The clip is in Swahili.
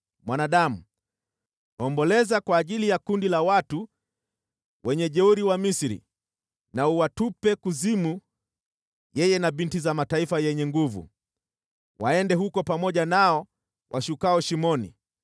“Mwanadamu, omboleza kwa ajili ya makundi ya wajeuri wa Misri na uwatupe kuzimu yeye na binti za mataifa yenye nguvu, waende huko pamoja nao washukao shimoni.